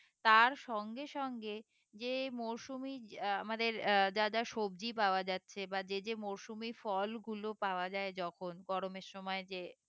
তার সঙ্গে সঙ্গে যে মৌসুমী আমাদের আহ যা যা সবজি পাওয়া যাচ্ছে বা যে যে মৌসুমী ফল গুলো পাওয়া যায় যখন গরমের সময় যে